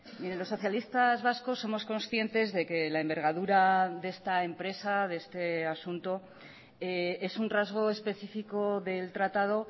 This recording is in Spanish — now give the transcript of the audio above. mire los socialistas vascos somos conscientes de que la envergadura de esta empresa de este asunto es un rasgo especifico del tratado